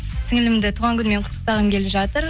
сіңлілімді туған күнімен құттықтағым келіп жатыр